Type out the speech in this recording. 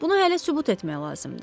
Bunu hələ sübut etmək lazımdır.